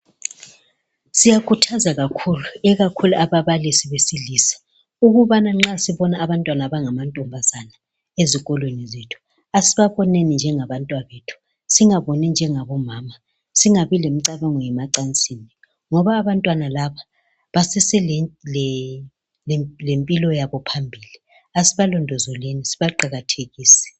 Siyakhuthaza kakhulu ikakhulu ababalisi besilisa ukuthi nxa sibona abantwana abangamantombazabe ezikolweni zethu, asibaboneni njengabantwabethu singaboni njengabomama. Singabi lemicabango yemacansini ngoba abantwana laba baseselempilo yabo phambili. Asibalondolozeni sibaqakathekise.